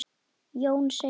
Jón segir: